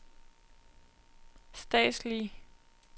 statslige